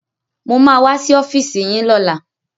Mo ma wá sí ọ́fíìsì yín lọ́la